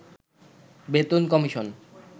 বেতন কমিশন